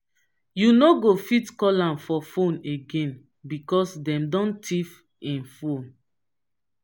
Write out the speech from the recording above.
you no go fit call am for fone again because dem don tiff im fone.